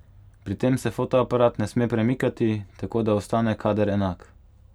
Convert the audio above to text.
Pri tem se fotoaparat ne sme premikati, tako da ostane kader enak.